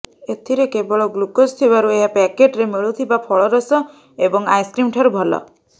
ଏଥିରେ କେବଳ ଗ୍ଲୁକୋଜ୍ ଥିବାରୁ ଏହା ପ୍ୟାକେଟ୍ରେ ମିଳୁଥିବା ଫଳରସ ଏବଂ ଆଇସ୍କ୍ରିମ୍ ଠାରୁ ଭଲ